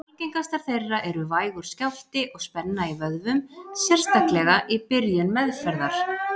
Algengastar þeirra eru vægur skjálfti og spenna í vöðvum, sérstaklega í byrjun meðferðar.